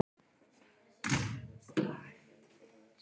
Um sinn mátti virðast sem allar bjargir væru bannaðar.